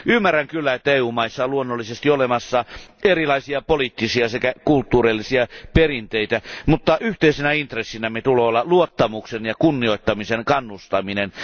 Ymmärrän kyllä, että EU maissa on luonnollisesti olemassa erilaisia poliittisia sekä kulttuurisia perinteitä, mutta yhteisenä intressinämme tulee olla luottamuksen ja kunnioittamisen kannustaminen.